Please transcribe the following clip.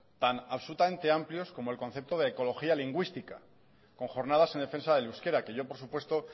tan absolutamente amplios como el concepto de ecología lingüística con jornadas en defensa del euskera que yo por supuesto